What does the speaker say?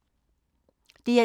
DR1